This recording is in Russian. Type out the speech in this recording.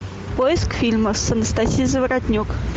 поиск фильма с анастасией заворотнюк